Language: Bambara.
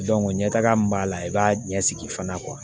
ɲɛ taga min b'a la i b'a ɲɛsigi fana